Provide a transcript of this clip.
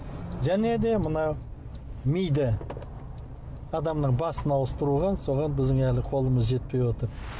және де мына миды адамның басын ауыстыруға соған біздің әлі қолымыз жетпей отыр